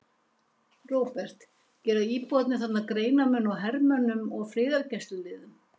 Róbert: Gera íbúarnir þarna greinarmun á hermönnum og friðargæsluliðum?